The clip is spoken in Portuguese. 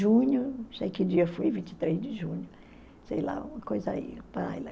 Junho, não sei que dia foi, vinte e três de junho, sei lá, uma coisa aí.